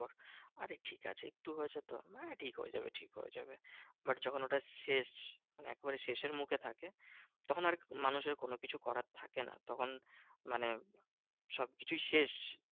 আরে ঠিকাছে একটু হয়েছে তো হ্যাঁ ঠিক হয়ে যাবে ঠিক হয়ে যাবে। but যখন ওটার শেষ একবারে শেষের মুখে থাকে তখন আর মানুষের কোনোকিছু করার থাকে না। তখন মানে সবকিছুই শেষ।